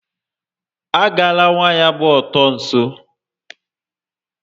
A gala waya gba ọtọ nso